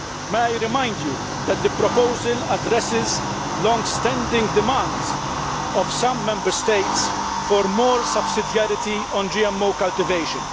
May I remind you that the proposal addresses the long standing demands of some Member States for more subsidiarity on GMO cultivation.